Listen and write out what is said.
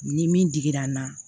Ni min digira n na